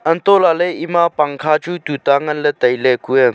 hantoh lah ley ema pangkha chu tuta ngan ley tai ley kue.